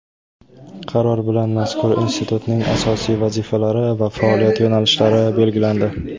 Qaror bilan mazkur institutning asosiy vazifalari va faoliyat yo‘nalishlari belgilandi.